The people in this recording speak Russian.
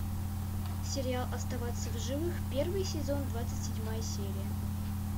сериал оставаться в живых первый сезон двадцать седьмая серия